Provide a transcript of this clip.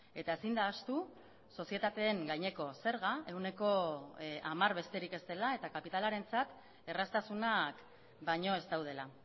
eta ezin da ahaztu sozietateen gaineko zerga ehuneko hamar besterik ez dela eta kapitalarentzat erraztasunak baino ez daudela